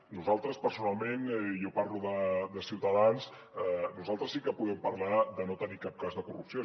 nosaltres personalment jo parlo de ciutadans sí que podem parlar de no tenir cap cas de corrupció